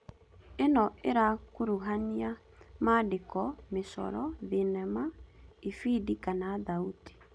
Ĩno ĩrakuruhania maandĩko, mĩcoro, thenema, ibidi kana thauti